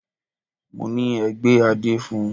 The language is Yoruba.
Mọ ní: Ẹ gbé adé fun!